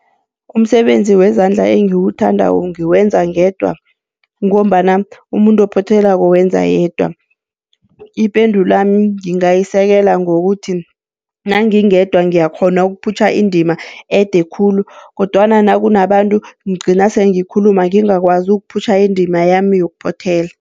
Umsebenzi wezandla engiwuthandako ngiwenza ngedwa, ngombana umuntu ophothelako wenza yedwa. Ipendulwami ngingayisekela ngokuthi nangingedwa ngiyakghona ukuphutjha indima ede khulu kodwana nakunabantu ngigcina sele ngikhuluma ngingakwazi ukuphutjha indima yami yokuphothela.